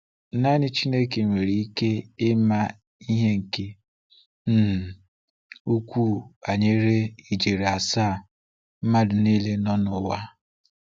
Naanị Chineke nwere ike ịma ihe nke um ukwuu banyere ijeri asaa mmadụ niile nọ n'ụwa.